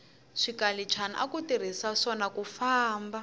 swikalichana aku tirhiswa swona kufamba